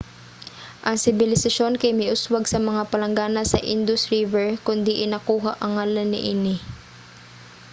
ang sibilisasyon kay miuswag sa mga palanggana sa indus river kon diin nakuha ang ngalan niini